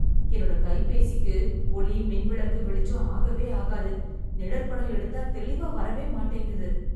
என்னோட கைபேசிக்கு, ஒளி, மின் விளக்கு வெளிச்சம் ஆகவே ஆகாது... நிழற்படம் எடுத்தால் தெளிவாக வரவேமாட்டேங்குது...